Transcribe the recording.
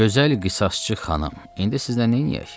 Gözəl qısasçı xanım, indi sizlə neyləyək?